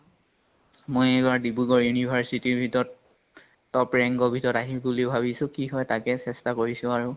মই এইবাৰ ডিব্ৰুগড় university ৰ ভিতৰত top rank ৰ ভিতৰত আহিম বুলি ভাবিছো কি হয় তাকে চেষ্টা কৰিছো আৰু।